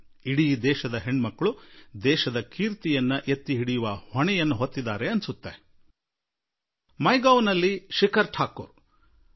ಇಡೀ ಭಾರತದ ಪುತ್ರಿಯರು ದೇಶದ ಹೆಸರು ಬೆಳಗಿಸುವ ಹೊಣೆ ಹೊತ್ತುಕೊಂಡುಬಿಟ್ಟಿದ್ದಾರೆ ಎಂದು ಅನಿಸುತ್ತದೆ